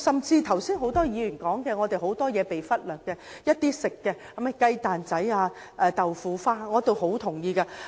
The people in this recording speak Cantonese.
剛才很多議員提到，很多事情已經被忽略，包括一些食品，如雞蛋仔、豆腐花等。